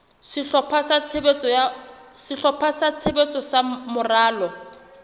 sehlopha sa tshebetso sa moralo